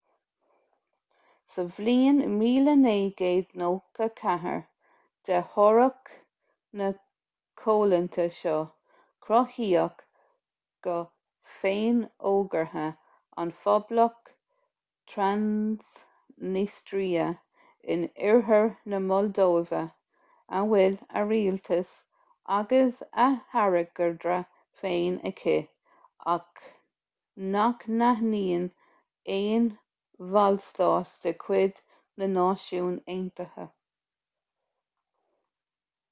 sa bhliain 1994 de thoradh na coimhlinte seo cruthaíodh go féinfhógartha an phoblacht transnistria in oirthear na moldóive a bhfuil a rialtas agus a hairgeadra féin aici ach nach n-aithníonn aon bhallstát de chuid na náisiún aontaithe